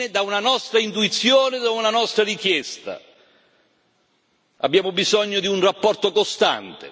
Abbiamo bisogno di un rapporto costante con la Commissione e con la Banca europea per gli investimenti.